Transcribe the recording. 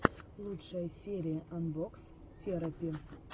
лучшая серия анбокс терапи